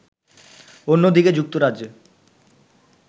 অন্যদিকে যুক্তরাজ্যে